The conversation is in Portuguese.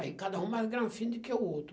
Aí cada um mais granfino do que o outro.